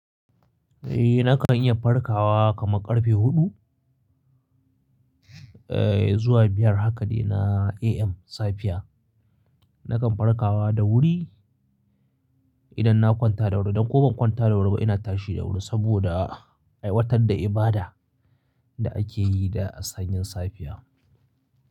Eh nakan iya farkawa kamar karfe huɗu, eh zuwa biyar haka ne na AM safiya. Nakan farkawa da wuri idan na kwanta da wuri dan ko ban kwanta da wuri ba ina tashi da wuri saboda aiwatar da ibada da akeyi da sanyin safiya.